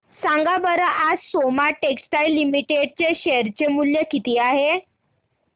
सांगा बरं आज सोमा टेक्सटाइल लिमिटेड चे शेअर चे मूल्य किती आहे